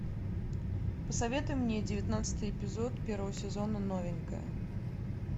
посоветуй мне девятнадцатый эпизод первого сезона новенькая